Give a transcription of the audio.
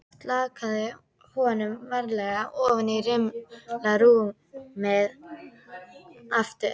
Slakaði honum varlega ofan í rimlarúmið aftur.